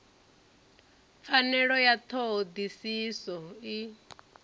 pfanelo ya ṱho ḓisiso i